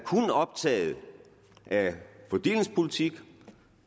optaget af fordelingspolitik